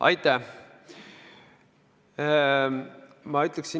Aitäh!